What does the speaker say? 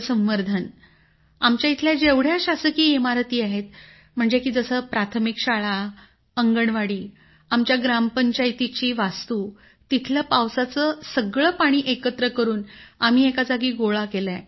sir आमच्या इथल्या जेवढ्या शासकीय इमारती आहेत जसं प्राथमिक शाळा अंगणवाडी आमच्या ग्रामपंचायतीची वास्तू तिथलं पावसाचं पाणी सगळं एकत्र करून आम्ही एका जागी गोळा केलंय